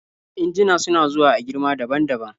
injuna suna zuwa a girma daban daban